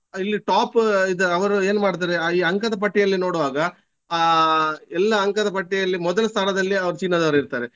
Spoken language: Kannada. ಇಲ್ಲಿ top ಇದ್ ಅವರು ಏನು ಮಾಡ್ತಾರೆ ಆಹ್ ಈ ಅಂಕದ ಪಟ್ಟಿಯಲ್ಲಿ ನೋಡುವಾಗ ಆಹ್ ಎಲ್ಲ ಅಂಕದ ಪಟ್ಟಿಯಲ್ಲಿ ಮೊದಲ ಸ್ಥಾನದಲ್ಲಿ ಅವರು ಚೀನಾದವರು ಇರ್ತಾರೆ.